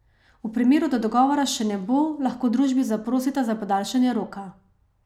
V primeru, da dogovora še ne bo, lahko družbi zaprosita za podaljšanje roka.